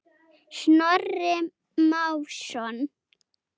Snorri Másson.